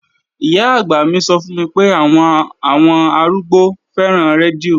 Ìyá-àgbà mi sọ fún mi pé àwọn àwọn arúgbó fẹ́ràn rédíò